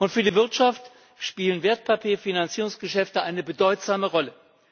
Für die Wirtschaft spielen Wertpapierfinanzierungsgeschäfte eine bedeutsame Rolle.